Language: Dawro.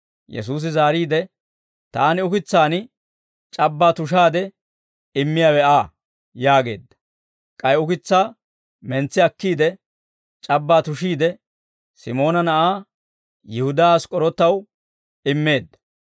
Yesuusi zaariide, «Taani ukitsaan c'abbaa tushaade immiyaawe Aa» yaageedda. K'ay ukitsaa mentsi akkiide, c'abbaa tushiide, Simoona na'aa, Yihudaa Ask'k'orootaw immeedda.